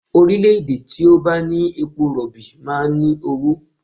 Orílẹ̀-èdè tó bá ní epo rọ̀bì máa ń ní owó